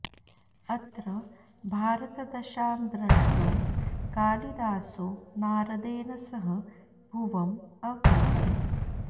अत्र भारतदशां द्रष्टुं कालिदासो नारदेन सह भुवम् अवतरति